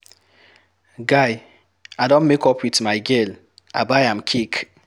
Guy, I don make up wit my girl, I buy am cake.